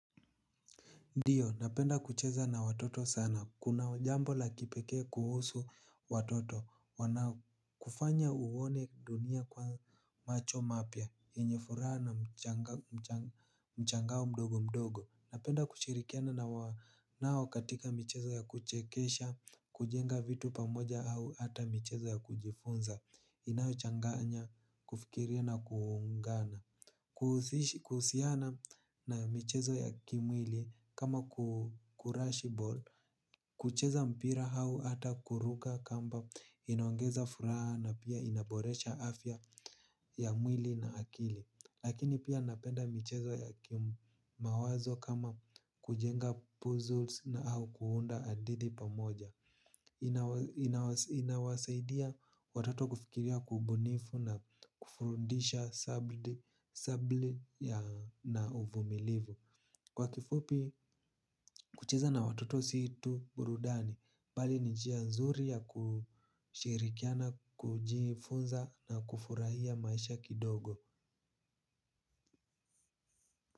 Ndiyo, napenda kucheza na watoto sana. Kuna jambo la kipekee kuhusu watoto. Wanakufanya uone dunia kwa macho mapya. Yenye furaha na mshangao mdogo mdogo. Napenda kuchirikiana na wao katika michezo ya kuchekesha, kujenga vitu pamoja au hata michezo ya kujifunza. Inayochanganya kufikiria na kuungana. Kuhusiana na michezo ya kimwili kama kurash ball. Kucheza mpira hau ata kuruka kamba inaongeza furaha na pia inaboresha afya ya mwili na akili. Lakini pia napenda michezo ya kimawazo kama kujenga puzzles na au kuunda hadidi pamoja. Inawasaidia watoto kufikiria kwa ubunifu na kufundisha subira na uvumilivu. Kwa kifupi kucheza na watoto sio tu burudani bali ni njia nzuri ya kushirikiana kujifunza na kufurahia maisha kidogo.